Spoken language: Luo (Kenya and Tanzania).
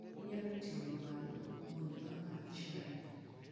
Inyalo ting'a malo mondo amadh chai.